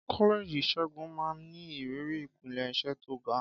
Kọ́lẹ́ẹ̀jì ìṣègùn máa ń ní ìrírí ìpele iṣẹ́ tó ga.